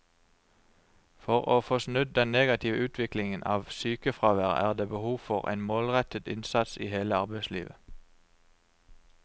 For å få snudd den negative utviklingen av sykefraværet er det behov for en målrettet innsats i hele arbeidslivet.